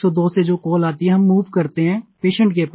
102 से जो कॉल आती है हम मूव करते हैं पेशेंट के पास